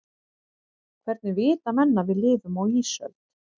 hvernig vita menn að við lifum á ísöld